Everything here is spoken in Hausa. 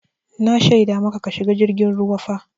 Na shaida maka ka shiga jirgin ruwa fa!